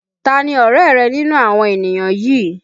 Tani ọ̀rẹ́ rẹ nínú àwọn ènìyàn yìí?